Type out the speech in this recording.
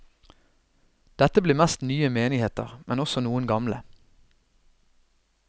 Dette blir mest nye menigheter, men også noen gamle.